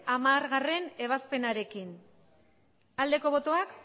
hamargarrena ebazpenarekin aldeko botoak